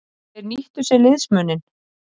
Þeir nýttu sér liðsmuninn.